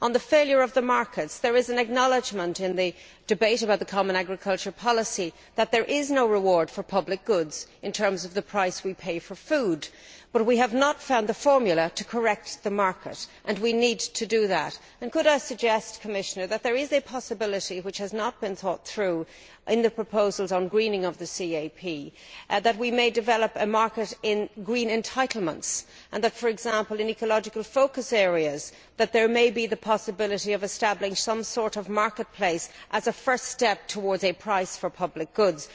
On the failure of the markets, it is acknowledged in the debate about the common agriculture policy that there is no reward for public goods in terms of the price we pay for food, but we have not found the formula for correcting the market, and we need to do that. Commissioner, could I suggest that there may be a possibility which has not been thought through in the proposals on greening the CAP for us to develop a market in green entitlements, and that, for example in ecological focus areas, it may be possible to establish some sort of marketplace as a first step towards a price for public goods.